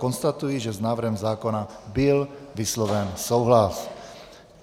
Konstatuji, že s návrhem zákona byl vysloven souhlas.